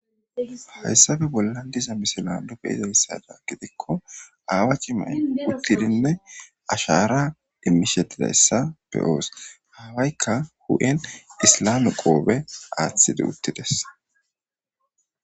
Hayssappe bollan diza misilan be'iza issada gidikko aawa cimay uttidinne ashaara immishe diya issa be'oos. Ha awaykka huphen islame qoobe aaththidi utti dees.